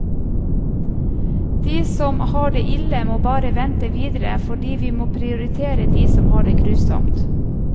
De som har det ille må bare vente videre fordi vi må prioritere de som har det grusomt.